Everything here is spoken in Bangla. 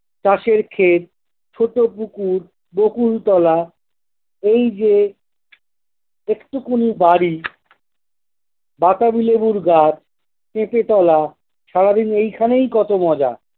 চাষের ক্ষেত, ছোট-পুকুর, বকুলতলা, এই যে এট্টুকুনি বাড়ি বাতাবি লেবুর গাছ, পেঁপে তলা, সারাদিন এইখানেই কত মজা!